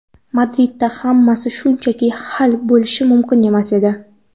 Madridda hammasi shunchaki hal bo‘lishi mumkin emas edi.